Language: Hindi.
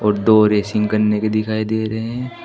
दो रेसिंग करने के दिखाई दे रहे हैं।